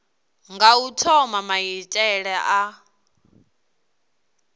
nga u thoma maitele a